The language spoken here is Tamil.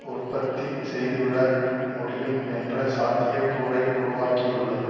உற்பத்தி செய்துவிட முடியும் என்ற சாத்தியக்கூறை உருவாக்கியுள்ளது